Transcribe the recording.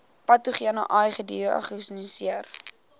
patogene ai gediagnoseer